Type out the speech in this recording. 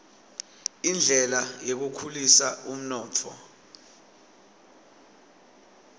indlela yekukhulisa umnotfo